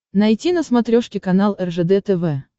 найти на смотрешке канал ржд тв